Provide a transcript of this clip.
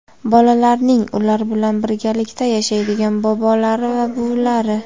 bolalarning ular bilan birgalikda yashaydigan bobolari va buvilari;.